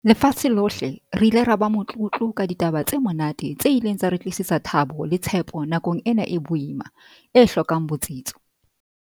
lefatshe lohle, re ile ra ba motlotlo ka ditaba tse monate tse ileng tsa re tlisetsa thabo le tshepo nakong ena e boima, e hlokang botsitso.